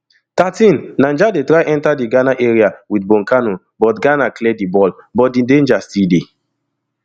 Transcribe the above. thirteenniger dey try enta di ghana area wit bonkano but ghana clear di ball but di danger still dey